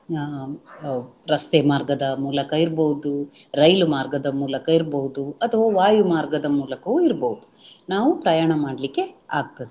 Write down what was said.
ಅಹ್ ರಸ್ತೆ ಮಾರ್ಗದ ಮೂಲಕ ಇರ್ಬಹುದು, ರೈಲು ಮಾರ್ಗದ ಮೂಲಕ ಇರ್ಬಹುದು ಅಥವಾ ವಾಯು ಮಾರ್ಗದ ಮೂಲಕವು ಇರ್ಬಹುದು ನಾವು ಪ್ರಯಾಣ ಮಾಡಲಿಕ್ಕೆ ಆಗ್ತದೆ